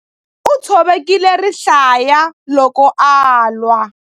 U tshovekile rihlaya loko a lwa.